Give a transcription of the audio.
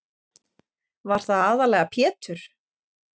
Var það aðallega Pjetur